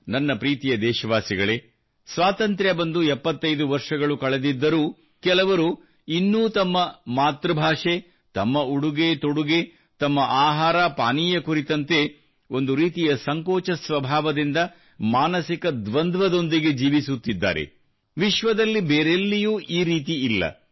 ನನ್ನ ಪ್ರೀತಿಯ ದೇಶವಾಸಿಗಳೇ ಸ್ವಾತಂತ್ರ್ಯಬಂದು 75 ವರ್ಷಗಳು ಕಳೆದಿದ್ದರೂ ಕೆಲವರು ಇನ್ನೂ ತಮ್ಮ ಭಾಷೆ ತಮ್ಮ ಉಡುಗೆತೊಡುಗೆ ತಮ್ಮಆಹಾರಪಾನೀಯ ಕುರಿತಂತೆ ಒಂದು ರೀತಿಯ ಸಂಕೋಚ ಸ್ವಭಾವದಿಂದ ಮಾನಸಿಕ ದ್ವಂದ್ವದೊಂದಿಗೆ ಜೀವಿಸುತ್ತಿದ್ದಾರೆ ವಿಶ್ವದಲ್ಲಿ ಬೇರೆಲ್ಲಿಯೂ ಈ ರೀತಿ ಇಲ್ಲ